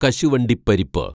കശുവണ്ടിപ്പരിപ്പ്